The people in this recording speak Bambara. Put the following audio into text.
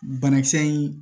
Banakisɛ in